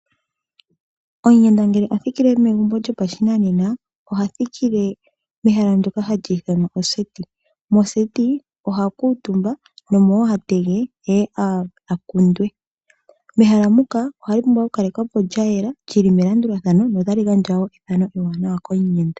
Omuyenda ngele a thikile megumbo lyopashinanena oha thikile mehala ndyoka hali ithanwa oseti, moseti oha kuutumba nomo wo ha tege eye a kundwe. Mehala muka ohali pumbwa okukalekwa po lyayela lyili melandulathano nota li gandja ethano ewaanawa komuyenda.